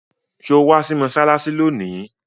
Sọ wá sí mọ́ṣáláṣí lónìí?